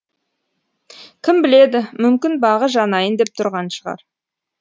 кім біледі мүмкін бағы жанайын деп тұрған шығар